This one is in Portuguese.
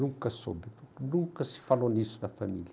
Nunca soube, nunca se falou nisso na família.